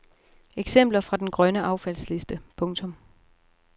Eksempler fra den grønne affaldsliste. punktum